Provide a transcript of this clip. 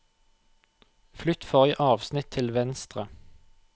Flytt forrige avsnitt til venstre